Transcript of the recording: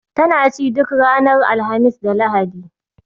Tana ci duk ranar Alhamis da Lahadi